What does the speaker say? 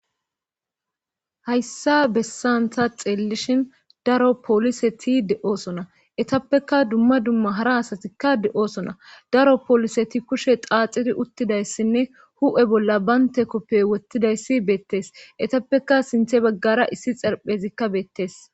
hayssa bessan taa xeellishin daro pooliseti de7oosona etappekka dumma dumma hara asatikka de7osona daro pooliseti kushe xaaxidi uttidayssinne hu7e bolla baynte koppe wottidayssi beettees etappeka sinthe baggara issi xerphezikka beettees